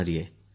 आपल्या आईंनाही